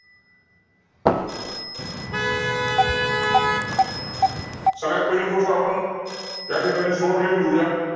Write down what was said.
विठ्ठल राव विठ्ठल रामजी शिंदे यांनी देवदासी या समाज घातक प्रत्ये वर एक सभा घेतली.